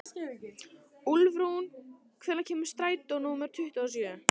Úlfrún, hvenær kemur strætó númer tuttugu og sjö?